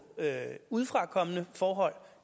af udefrakommende forhold